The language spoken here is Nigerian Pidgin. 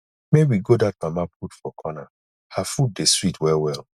make we go dat mama put for corner her food dey sweet wellwell